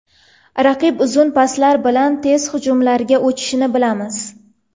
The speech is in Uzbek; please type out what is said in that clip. Raqib uzun paslar bilan tez hujumlarga o‘tishini bilamiz.